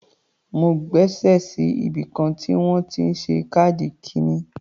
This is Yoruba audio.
Mo gbaṣé sí ibìkan tí wọ́n ti ń ṣe káàdì ikíni.